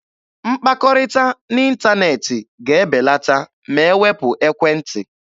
Mkpakọrịta n'ịntaneetị ga-ebelata ma e wepụ ekwentị.